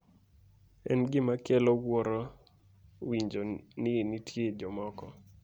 en gima kelo wuoro winjo ni nitie jomoko